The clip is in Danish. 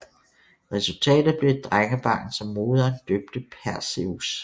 Resultatet blev et drengebarn som moderen døbte Perseus